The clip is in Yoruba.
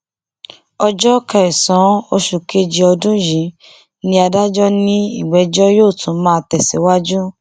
ọjọ kẹsànán oṣù kejì ọdún yìí ni adájọ ní ìgbẹjọ yóò tún máa tẹsíwájú